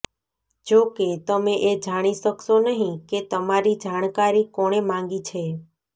જો કે તમે એ જાણી શકશો નહિં કે તમારી જાણકારી કોણે માંગી છે